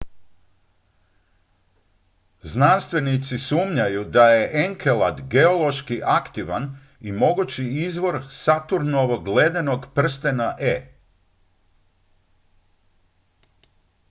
znanstvenici sumnjaju da je enkelad geološki aktivan i mogući izvor saturnovog ledenog prstena e